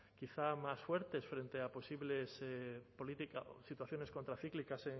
quizá más fuertes frente a posibles situaciones contracíclicas